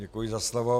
Děkuji za slovo.